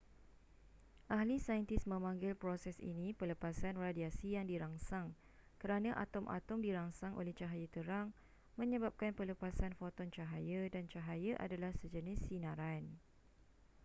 ahli saintis memanggil proses ini pelepasan radiasi yang dirangsang kerana atom-atom dirangsang oleh cahaya terang menyebabkan pelepasan foton cahaya dan cahaya adalah sejenis sinaran